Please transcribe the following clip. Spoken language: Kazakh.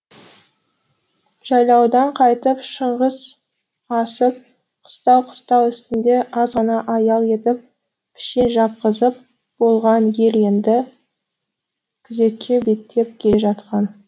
жайлаудан қайтып шыңғыс асып қыстау қыстау үстінде аз ғана аял етіп пішен шапқызып болған ел енді күзекке беттеп келе жатқан